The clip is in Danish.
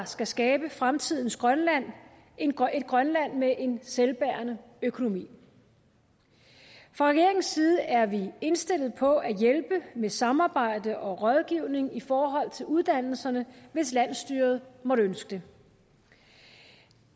skal skabe fremtidens grønland et grønland med en selvbærende økonomi fra regeringens side er vi indstillet på at hjælpe med samarbejde og rådgivning i forhold til uddannelserne hvis landsstyret måtte ønske